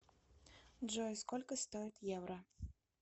джой сколько стоит евро